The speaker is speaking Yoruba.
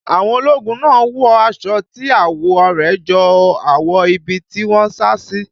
Àwọn ológun náà wọ aṣọ tí àwọ̀ rẹ̀ jọ àwọ̀ ibi tí wọ́n sá sí.